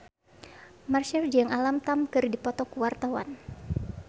Marchell jeung Alam Tam keur dipoto ku wartawan